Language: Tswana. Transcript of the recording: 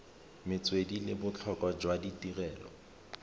metswedi le botlhokwa jwa tirelo